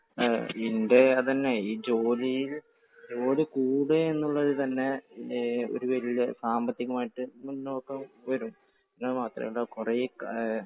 എൻറെ അത് തന്നെ. ഈ ജോലിയിൽ ജോലി കൂടുക എന്നുള്ള തന്നെ ഒരു വലിയ സാമ്പത്തികം ആയിട്ട് മുന്നോട്ടു വരും. അതുമാത്രമല്ല കുറേ